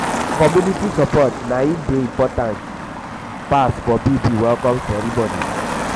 community support na im dey important im dey important pass for baby welcome celebration. um